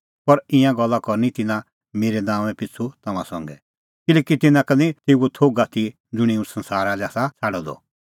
पर ईंयां गल्ला करनी तिन्नां मेरै नांओंआं पिछ़ू तम्हां संघै किल्हैकि तिन्नां का निं तेऊओ थोघ आथी ज़ुंणी हुंह संसारा लै आसा छ़ाडअ द